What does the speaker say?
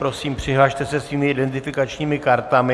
Prosím, přihlaste se svými identifikačními kartami.